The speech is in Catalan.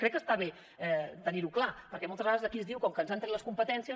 crec que està bé tenir ho clar perquè moltes vegades d’aquí es diu com que ens han tret les competències